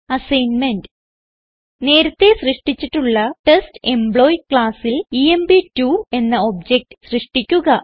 assignment നേരത്തേ സൃഷ്ടിച്ചിട്ടുള്ള test employee ക്ലാസ്സിൽ എംപ്2 എന്ന ഒബ്ജക്ട് സൃഷ്ടിക്കുക